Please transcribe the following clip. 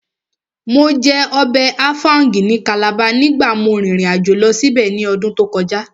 Mo jẹ ọbẹ̀ áfáúngì ní Calabar nígbàtí mo rìn ìrìnàjò lọ síbẹ̀ ní ọdún tó kọjá